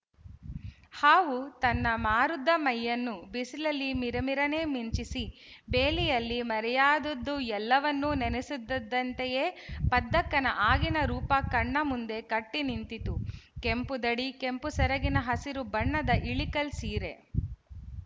ಹಾವು ತನ್ನ ಮಾರುದ್ದ ಮೈಯನ್ನು ಬಿಸಿಲಲ್ಲಿ ಮಿರಮಿರನೆ ಮಿಂಚಿಸಿ ಬೇಲಿಯಲ್ಲಿ ಮರೆಯಾದದ್ದುಎಲ್ಲವನ್ನೂ ನೆನಸುತ್ತಿದ್ದಂತೆಯೇ ಪದ್ದಕ್ಕನ ಆಗಿನ ರೂಪ ಕಣ್ಣ ಮುಂದೆ ಕಟ್ಟಿ ನಿಂತಿತು ಕೆಂಪು ದಡಿ ಕೆಂಪು ಸೆರಗಿನ ಹಸಿರು ಬಣ್ಣದ ಇಳಿಕಲ್ ಸೀರೆ